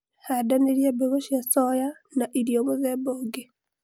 handanĩria mbegũ cia soya na irio mũthemba ũngĩ